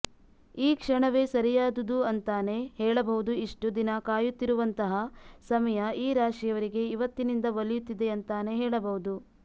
ಈ ಕ್ಷಣವೇ ಸರಿಯಾದುದು ಅಂತಾನೆ ಹೇಳಬಹುದು ಇಷ್ಟು ದಿನ ಕಾಯುತ್ತಿರುವಂತಹ ಸಮಯ ಈ ರಾಶಿಯವರಿಗೆ ಇವತ್ತಿನಿಂದ ಒಲಿಯುತ್ತಿದೆ ಅಂತಾನೆ ಹೇಳಬಹುದು